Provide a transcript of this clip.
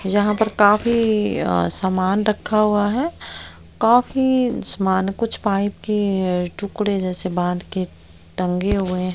यहां पर काफी अह सामान रखा हुआ है काफी सामान कुछ पाइप के टुकड़े जैसे बांध के टंगे हुए हैं।